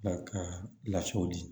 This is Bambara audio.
Ka lasew di